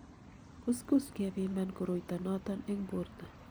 kuskus kepiman koroito noto eng borto